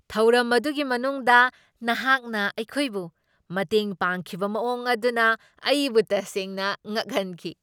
ꯊꯧꯔꯝ ꯑꯗꯨꯒꯤ ꯃꯅꯨꯡꯗ ꯅꯍꯥꯛꯅ ꯑꯩꯈꯣꯏꯕꯨ ꯃꯇꯦꯡ ꯄꯥꯡꯈꯤꯕ ꯃꯑꯣꯡ ꯑꯗꯨꯅ ꯑꯩꯕꯨ ꯇꯁꯦꯡꯅ ꯉꯛꯍꯟꯈꯤ!